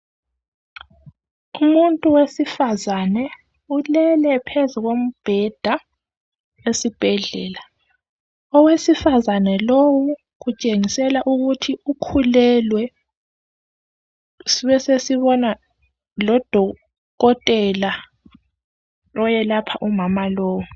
Umuntu wesifa Ulele phezu kombheda esibhedlela. Owesifazane lowu kutshengisela ukuthi ukhulelwe, sibesesibona lodokotela oyelapha umama lowu.